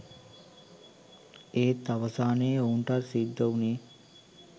එත් අවසානයේ ඔහුටත් සිද්ධ උනේ